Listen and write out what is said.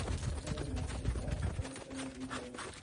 покажи мастер класс топ тэн видео